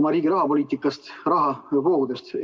oma riigi rahapoliitikast, rahavoogudest.